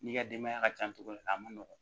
N'i ka denbaya ka ca cogo min a ma nɔgɔn